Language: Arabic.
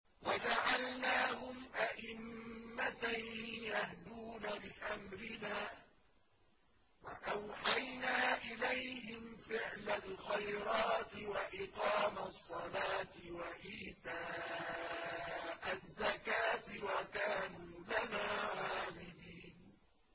وَجَعَلْنَاهُمْ أَئِمَّةً يَهْدُونَ بِأَمْرِنَا وَأَوْحَيْنَا إِلَيْهِمْ فِعْلَ الْخَيْرَاتِ وَإِقَامَ الصَّلَاةِ وَإِيتَاءَ الزَّكَاةِ ۖ وَكَانُوا لَنَا عَابِدِينَ